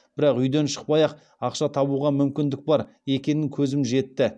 бірақ үйден шықпай ақ ақша табуға мүмкіндік бар екеніне көзім жетті